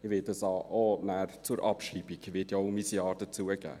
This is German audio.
Ich werde auch zur Abschreibung mein Ja geben.